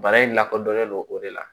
Bana in lakodɔnnen don o de la